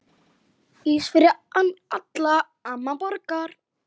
Ís fyrir alla, amma borgar